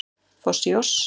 Foss í oss